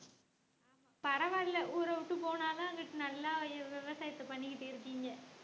பரவாயில்ல ஊரை விட்டு போனாதான் அங்கிட்டு நல்லா விவசாயத்தை பண்ணிக்கிட்டு இருக்கீங்க